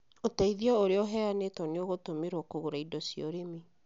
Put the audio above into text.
Ũteĩthĩo uria uheyanĩtwo nĩ ũgũtũmirwo kũgũra indo cia urĩmĩ.